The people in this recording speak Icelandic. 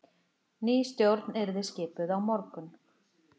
Ný stjórn yrði skipuð á morgun